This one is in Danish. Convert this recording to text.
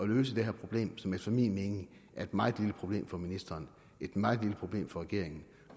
løse det her problem som efter min mening er et meget lille problem for ministeren et meget lille problem for regeringen